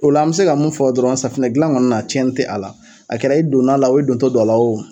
O la an bɛ se ka mun fɔ dɔrɔn safunɛdilan ŋɔni na tiɲɛni tɛ a la. A kɛra i donn'a la o i dontɔ do a la o